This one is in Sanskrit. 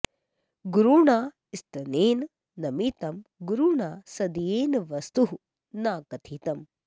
गुरुणा स्तनेन नमितं गुरुणा सदयेन वस्तुः न कथितम्